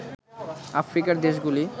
আফ্রিকার দেশগুলি